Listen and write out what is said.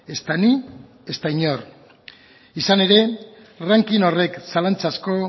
ezta ni ezta inor izan ere ranking horrek zalantzazko